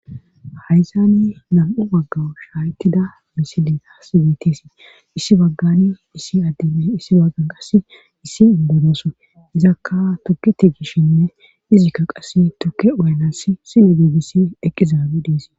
hayssani nam'u baggan shaaytida misili taas betes issi baggani issi addey issi baggan qass issi indoy izakka tuke tigishshinne izikka qass tukke uyanasi sine igissi eqqizaabe deesi